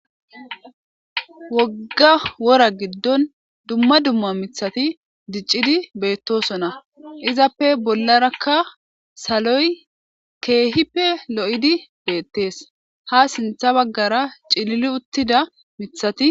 Wogga wora giddoni dumma dumma mithati diccidi beettoosona. Izappe bollarakka saloy keehippe lo7idi beettees. Ha sintha baggara ciliili uttida mithati...